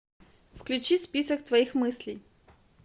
включи список твоих мыслей